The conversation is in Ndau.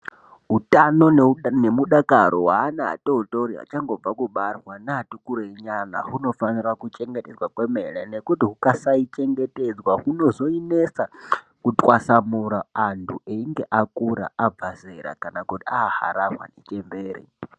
Utano nemudakaro weana atootori achangobva kubarwa neatikurei nyana hunofanira kuchengetedzwa kwemene nekuti hukasaichengetedzwa hunozoinetsa kutwasamura anhu einge akura, abva zera kana kuti aaharahwa nechembere.